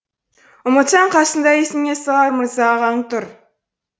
ұмытсаң қасыңда есіңе салар мырза ағаң тұр